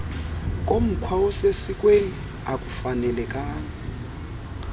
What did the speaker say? komkhwa osesikweni akufanelekanga